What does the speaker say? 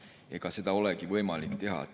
Ega seda võimalik teha.